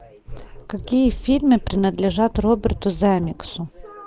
какие фильмы принадлежат роберту земекису